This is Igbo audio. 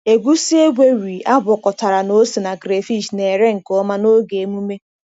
Egusi egweri agwakọtara na ose na crayfish na-ere nke ọma n’oge emume.